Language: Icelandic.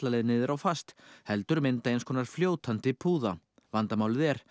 leið niður á fast heldur mynda eins konar fljótandi púða vandamálið er